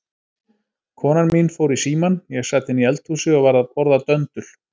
Konan mín fór í símann, ég sat inni í eldhúsi og var að borða döndul.